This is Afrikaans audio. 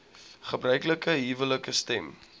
gebruiklike huwelike stem